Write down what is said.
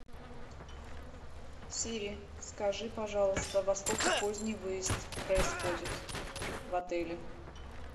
сири скажи пожалуйста во сколько поздний выезд происходит в отеле